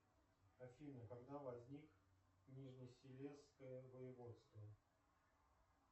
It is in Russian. афина когда возник нижнесилезское воеводство